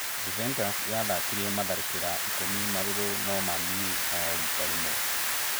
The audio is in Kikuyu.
Juventus yatharĩkĩire matharĩkĩra ikũmi marũrũ na Man-U no rita rĩmwe